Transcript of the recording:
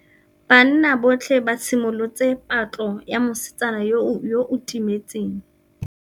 Banna botlhê ba simolotse patlô ya mosetsana yo o timetseng.